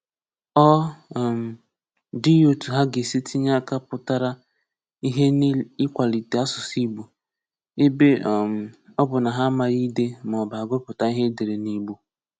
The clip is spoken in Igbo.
Ọ um dịghị otu ha ga-esi tinye aka pụtara ihe n’ịkwalite asụ̀sụ́ Ìgbò, ebe um ọ bụ na ha amaghị ídé ma ọ bụ àgụpụ̀tà ihe e dèré n’Ìgbò.